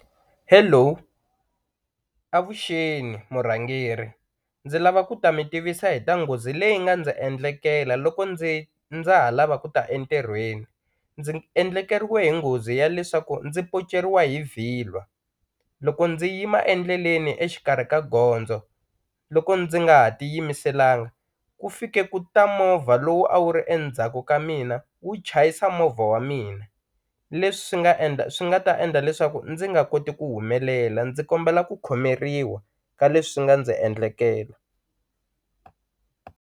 Hello avuxeni murhangeri ndzi lava ku ta mi tivisa hi ta nghozi leyi nga ndzi endlekela loko ndzi ndza ha lava ku ta entirhweni ndzi endlekeriwe hi nghozi ya leswaku ndzi poceriwa hi vhilwa, loko ndzi yima endleleni exikarhi ka gondzo loko ndzi nga ha tiyimiselanga ku fike ku ta movha lowu a wu ri endzhaku ka mina wu chayisa movha wa mina, leswi swi nga endla swi nga ta endla leswaku ndzi nga koti ku humelela ndzi kombela ku khomeriwa ka leswi swi nga ndzi endlekela.